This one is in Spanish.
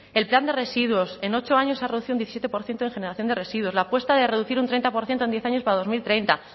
el plan de residuos en ocho años se ha reducido un diecisiete por ciento en generación de residuos la apuesta de reducir un treinta por ciento en diez años para dos mil treinta